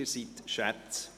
Sie sind Schätze!